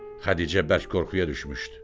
Xədicə bərk qorxuya düşmüşdü.